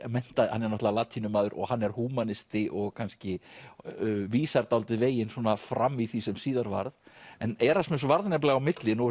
hann er náttúrulega og hann er húmanisti og kannski vísar dálítið veginn fram í því sem síðar varð en Erasmus varð nefnilega á milli nú er